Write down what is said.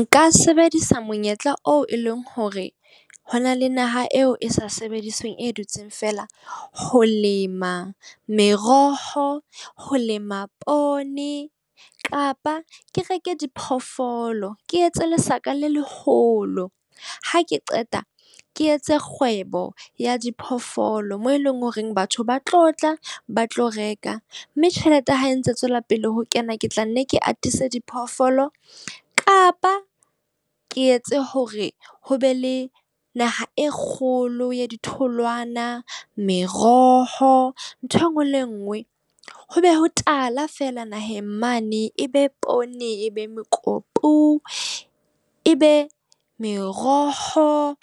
Nka sebedisa monyetla oo e leng hore ho na le naha eo e sa sebedisweng, e dutseng feela. Ho lema meroho, ho lema poone kapa ke reke diphoofolo, ke etse lesaka le leholo. Ha ke qeta, ke etse kgwebo ya diphoofolo moo eleng horeng batho ba tlo tla ba tlo reka. Mme tjhelete ha e ntse e tswela pele ho kena. Ke tla nne ke atise diphoofolo kapa ke etse hore ho be le naha e kgolo ya ditholwana, meroho, ntho e nngwe le e mngwe. Ho be ho tala fela naheng mane. Ebe poone, e be mekopu, e be meroho,